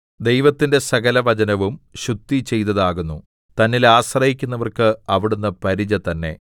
ദൈവത്തിന്റെ സകലവചനവും ശുദ്ധിചെയ്തതാകുന്നു തന്നിൽ ആശ്രയിക്കുന്നവർക്ക് അവിടുന്ന് പരിച തന്നെ